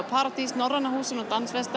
paradís Norræna húsinu og